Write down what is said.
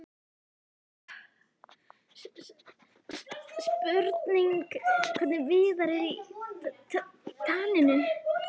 Spurning hvernig Viðar er í taninu?